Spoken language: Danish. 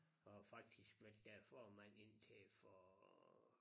Og har faktisk været deres formand indtil for